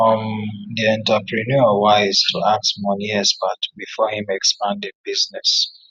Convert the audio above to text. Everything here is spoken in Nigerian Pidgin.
um di entrepreneur wise to ask money expert before him expand him business